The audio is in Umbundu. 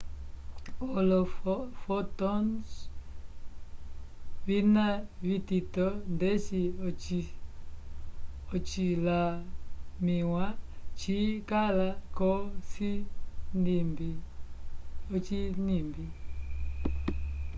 olo fotons vina vitito ndeci ocilamiwa ci kala ko cinimbi